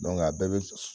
a bɛɛ bɛ